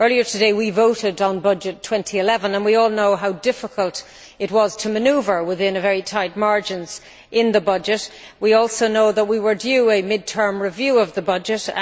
Earlier today, we voted on Budget 2011 and we all know how difficult it was to manoeuvre within the very tight margins in the budget. We also know that we were due a mid term review of the budget.